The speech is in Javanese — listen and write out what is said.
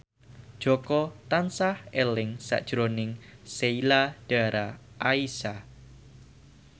Jaka tansah eling sakjroning Sheila Dara Aisha